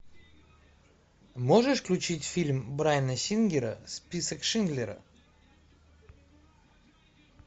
можешь включить фильм брайана сингера список шиндлера